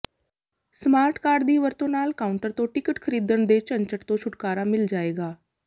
smart card ਦੀ ਵਰਤੋਂ ਨਾਲ ਕਾਊਂਟਰ ਤੋਂ ਟਿਕਟ ਖਰੀਦਣ ਦੇ ਝੰਝਟ ਤੋਂ ਛੁਟਕਾਰਾ ਮਿਲ ਜਾਏਗਾ